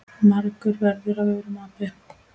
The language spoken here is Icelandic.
margur verður af aurum api.